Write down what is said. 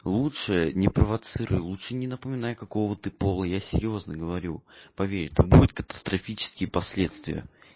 лучше не провоцируй лучше не напоминай какого ты пола я серьёзно говорю поверь там будет катастрофические последствия